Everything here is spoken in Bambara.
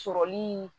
Sɔrɔli